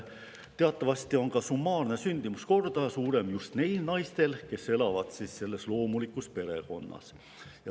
Teatavasti on ka summaarne sündimuskordaja suurem just neil naistel, kes elavad loomulikus perekonnas.